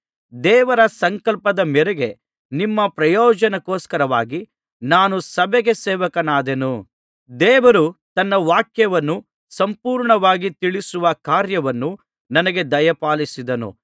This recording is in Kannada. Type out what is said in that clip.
ದೇವರ ಸಂಕಲ್ಪದ ಮೇರೆಗೆ ನಿಮ್ಮ ಪ್ರಯೋಜನಕ್ಕೋಸ್ಕರವಾಗಿ ನಾನು ಸಭೆಗೆ ಸೇವಕನಾದೆನು ದೇವರು ತನ್ನ ವಾಕ್ಯವನ್ನು ಸಂಪೂರ್ಣವಾಗಿ ತಿಳಿಸುವ ಕಾರ್ಯವನ್ನು ನನಗೆ ದಯಪಾಲಿಸಿದನು